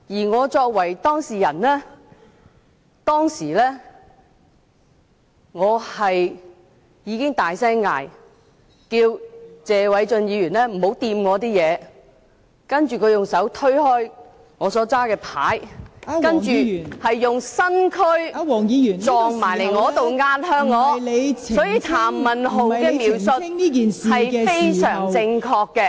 我作為當事人，當時已大聲喝止謝偉俊議員別碰我的物件，而他則用手推開我手持的紙牌，並用身軀撞向我、壓向我，所以譚文豪議員的描述是非常正確的......